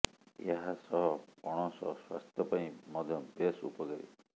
ଏହା ସହ ପଣସ ସ୍ୱାସ୍ଥ୍ୟ ପାଇଁ ମଧ୍ୟ ବେଶ୍ ଉପକାରୀ